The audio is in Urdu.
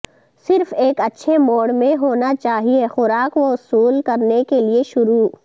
صرف ایک اچھے موڈ میں ہونا چاہئے خوراک وصول کرنے کے لئے شروع